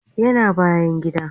Yana bayan gida